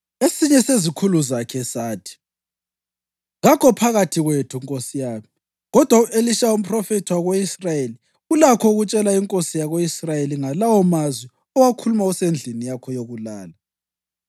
Esinye sezikhulu zakhe sathi, “Kakho phakathi kwethu nkosi yami, kodwa u-Elisha, umphrofethi wako-Israyeli, ulakho ukutshela inkosi yako-Israyeli ngalawo mazwi owakhuluma usendlini yakho yokulala.”